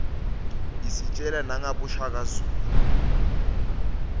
isitjela nangaboshaka zulu